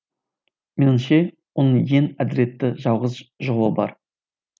меніңше оның ең әділетті жалғыз жолы бар